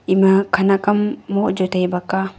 ema khenak ham moh jaw tai bak a.